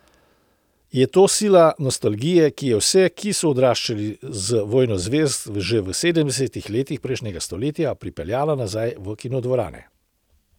Je to sila nostalgije, ki je vse, ki so odraščali z Vojno zvezd že v sedemdesetih letih prejšnjega stoletja, pripeljala nazaj v kinodvorane?